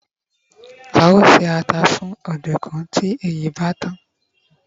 a o ṣe ata fún ọdunkun ti èyí bá tàn